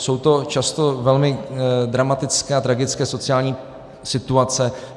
Jsou to často velmi dramatické a tragické sociální situace.